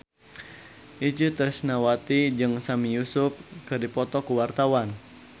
Itje Tresnawati jeung Sami Yusuf keur dipoto ku wartawan